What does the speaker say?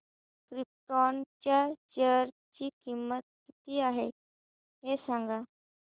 krypton च्या share ची किंमत किती आहे हे सांगा